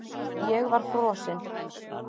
Ég var frosinn.